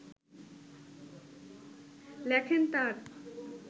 লেখেন তাঁর